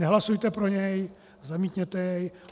Nehlasujte pro něj, zamítněte jej.